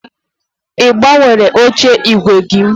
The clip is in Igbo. Ị gbanwere oche ígwè gị?